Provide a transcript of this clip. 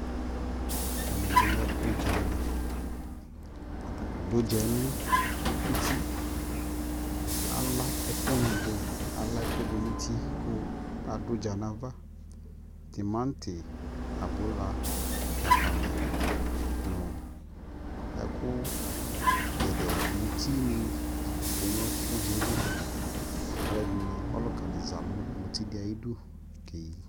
ɛmɛ bi lɛ ʋdzali, atani adʋʋdzɛ nʋ ʋti kʋ ala ɛkʋ ni dʋ, ala ɛkʋ dʋnʋ ʋti kʋ ɛdini adʋ ʋdza nʋ aɣa, tʋmati, abʋla, dzakali nʋ ɛkʋ gɛdɛɛ, mʋtini twɛ nʋ ʋdzali kʋ alʋɛdini, ɔlʋka zanʋmʋti di ayidʋ kɛyi